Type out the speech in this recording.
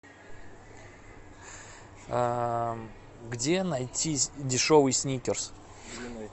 где найти дешевый сникерс